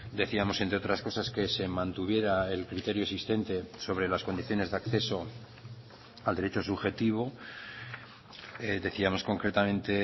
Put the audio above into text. decíamos entre otras cosas que se mantuviera el criterio existente sobre las condiciones de acceso al derecho subjetivo decíamos concretamente